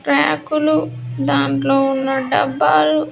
ట్రాకులు దాంట్లో ఉన్న డబ్బాలు.